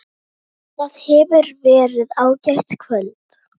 Það hefur verið ágætt kvöld.